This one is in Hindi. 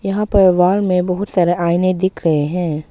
यहां पर वॉल में बहुत सारे आइने दिख रहे हैं।